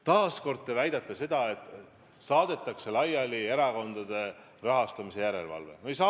Taas kord te väidate, et erakondade rahastamise järelevalve lõpetatakse.